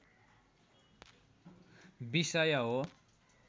विषय हो